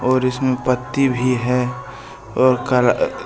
और इसमें पत्ती भी है और करा--